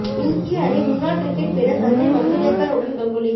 இந்திய அணி முன்னாள் கிரிக்கெட் வீரர் சஞ்சய் மஞ்சுரேக்கர் உடன் கங்குலி